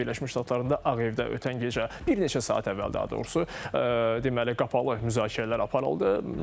Amerika Birləşmiş Ştatlarında Ağ Evdə ötən gecə, bir neçə saat əvvəl daha doğrusu, deməli qapalı müzakirələr aparıldı.